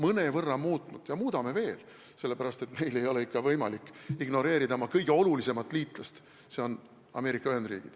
Oleme mõnevõrra muutnud ja muudame veel, sest meil ei ole võimalik ignoreerida oma kõige olulisemat liitlast, Ameerika Ühendriike.